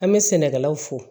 An bɛ sɛnɛkɛlaw fo